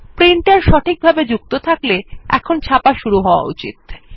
printer সঠিকভাবে যুক্ত থাকলে ছাপা শুরু হয়ে যাওয়া উচিত